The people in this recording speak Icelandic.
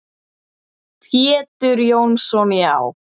Pétur Jónsson Já.